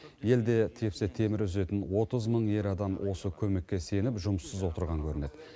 елде тепсе темір үзетін отыз мың ер адам осы көмекке сеніп жұмыссыз отырған көрінеді